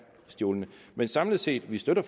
stjålne samlet set støtter